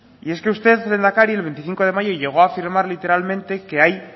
y es que usted lehendakari el veinticinco de mayo llegó a firmar literalmente que hay